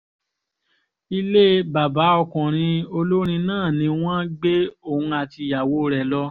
ilé bàbá ọkùnrin olórin náà ni wọ́n gbé òun àti ìyàwó rẹ̀ lọ